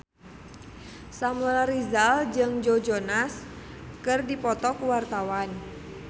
Samuel Rizal jeung Joe Jonas keur dipoto ku wartawan